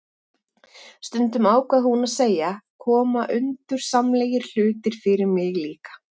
Stundum, ákvað hún að segja, koma undursamlegir hlutir fyrir mig líka